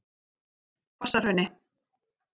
Hvassahrauni